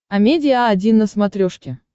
амедиа один на смотрешке